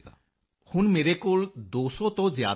ਮੰਜ਼ੂਰ ਜੀ ਹੁਣ ਮੇਰੇ ਕੋਲ 200 ਤੋਂ ਜ਼ਿਆਦਾ ਹਨ